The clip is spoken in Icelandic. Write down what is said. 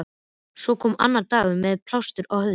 Svo kom annar dagur- með plástur á höfði.